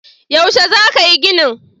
Yaushe za ka yi ginin?